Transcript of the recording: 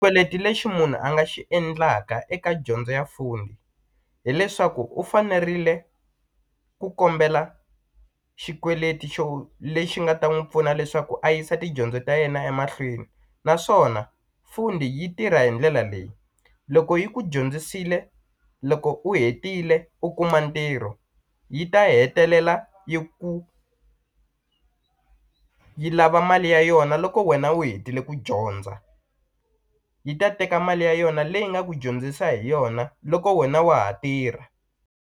lexi munhu a nga xi endlaka eka dyondzo ya foni hileswaku u fanerile ku kombela xikweleti xo lexi nga ta n'wi pfuna leswaku a yisa tidyondzo ta yena emahlweni naswona Fundi yi tirha hi ndlela leyi loko yi ku dyondzisile loko u hetile u kuma ntirho yi ta hetelela yi ku yi lava mali ya yona loko wena u hetile ku dyondza yi ta teka mali ya yona leyi nga ku dyondzisa hi yona loko wena wa ha tirha.